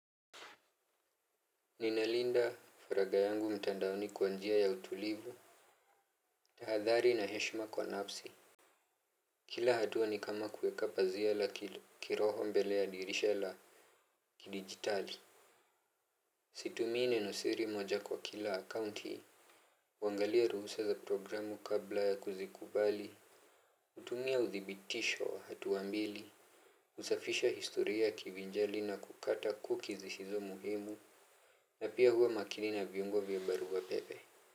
Ninalinda faraga yangu mtandaoni kwa njia ya utulivu. Tahadhari na heshima kwa nafsi. Kila hatua ni kama kueka pazia la kiroho mbele ya dirisha la kidigitali. Situmii neno siri moja kwa kila akaunti huangalia ruhusa za programu kabla ya kuzikubali. Utumia udhibitisho wa hatua mbili. Usafisha historia ya kivinjali na kukata cookies zisizo na umuhimu. Na pia huwa makini na viungo vya barua pepe.